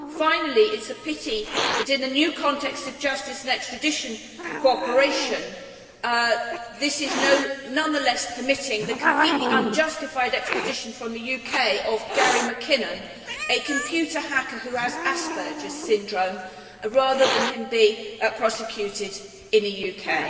Finally, it is a pity that the new context of justice and extradition cooperation nonetheless permits the completely unjustified extradition from the UK of Gary McKinnon, a computer hacker who has Asperger's syndrome, rather than his being prosecuted in the UK.